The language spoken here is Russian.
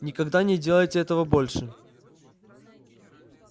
никогда не делайте этого больше